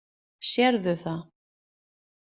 Sérðu það?